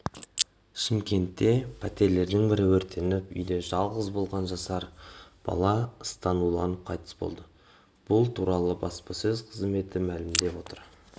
шымкентте пәтерлердің бірі өртеніп үйде жалғыз болған жасар бала ыстан уланып қайтыс болды бұл туралы баспасөз қызметі мәлімдеп отыр